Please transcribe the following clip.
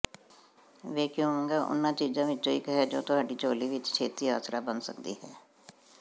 vacuuming ਉਹਨਾਂ ਚੀਜ਼ਾਂ ਵਿੱਚੋਂ ਇੱਕ ਹੈ ਜੋ ਤੁਹਾਡੀ ਝੋਲੀ ਵਿੱਚ ਛੇਤੀ ਆਸਰਾ ਬਣ ਸਕਦੀ ਹੈ